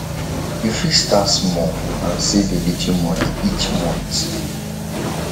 you fit start small and save a little money each month